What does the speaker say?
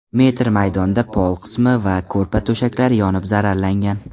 metr maydonda pol qismi va ko‘rpa-to‘shaklari yonib zararlangan.